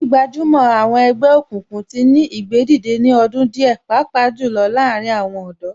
Gbígbajúmọ̀ àwọn ẹgbẹ́ òkùnkùn tí ní ìgbédìde ní ọdún díẹ̀ pàápàá jù lọ láàárín àwọn ọ̀dọ́